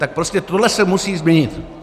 Tak prostě tohle se musí změnit.